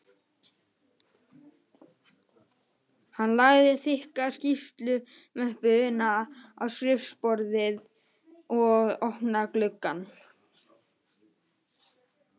Hann lagði þykka skýrslumöppuna á skrifborðið og opnaði gluggann